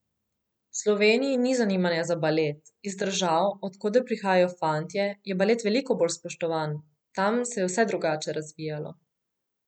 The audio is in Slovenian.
V Sloveniji ni zanimanja za balet, iz držav, od koder prihajajo fantje, je balet veliko bolj spoštovan, tam se je vse drugače razvijalo.